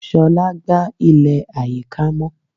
Shola gba ile ayika mọ.